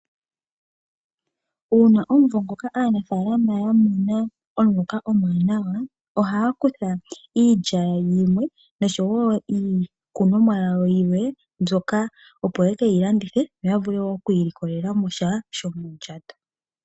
Uuna omuvo ngoka aanafalama yamona omuloka omuwanawa ohaya kutha iilya yimwe niikunomwa yawo yimwe mbyoka opo yekeyi landithe yoya vule oku ilikolela mosha shomo ndjato.